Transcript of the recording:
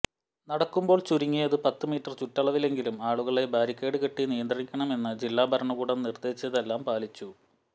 നടക്കുമ്പോൾ ചുരുങ്ങിയത് പത്ത് മീറ്റര് ചുറ്റവളവിലെങ്കിലും ആളുകളെ ബാരിക്കേഡ് കെട്ടി നിയന്ത്രിക്കണമെന്ന് ജില്ലാ ഭരണകൂടം നിര്ദ്ദേശിച്ചതെല്ലാം പാലിച്ചു